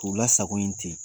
U lasago yen te